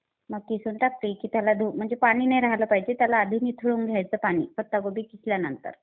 मग किसून टाकली की त्याला धु. म्हणजे पाणी नाय राहिलं पाहिजे. त्याला आधी निथळून घ्यायचं पाणी. पत्ता कोबी किसल्यानंतर.